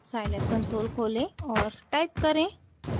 scilab console खोलें और type करें: